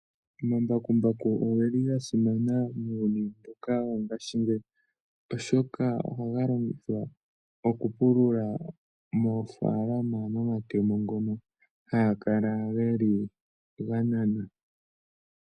Omambakumbaku oge li ga simana muuyuni mbuka wongashingeyi, oshoka ohaga longithwa okupulula moofaalama nomatemo ngono haga kala ge li ga nana.